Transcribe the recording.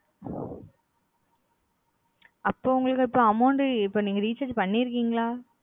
recharge recharge பண்ணுங்க வந்து இருக்கு mam அப்போ நீங்க recharge பண்ணியிருக்கிங்களா